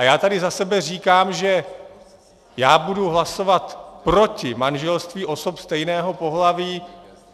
A já tady za sebe říkám, že já budu hlasovat proti manželství osob stejného pohlaví.